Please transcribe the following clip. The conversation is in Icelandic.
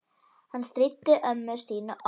Hann stríddi ömmu Stínu oft.